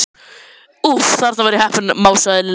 Úff, þarna var ég heppin másaði Lilla.